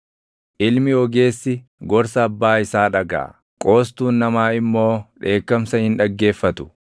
Ilmi ogeessi gorsa abbaa isaa dhagaʼa; qoostuun namaa immoo dheekkamsa hin dhaggeeffatu.